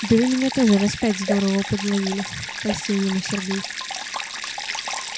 да вы меня тоже раз пять здорово подловили польстил ему сергей